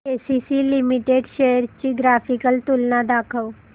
ACC limited shares ची graphical तुलना दाखव